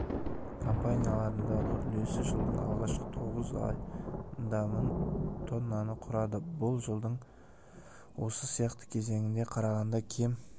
компанияларындағы үлесі жылдың алғашқы тоғыз айындамың тоннаны құрады бұл жылдың осы сияқты кезеңіне қарағанда кем